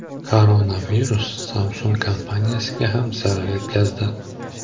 Koronavirus Samsung kompaniyasiga ham zarar yetkazdi.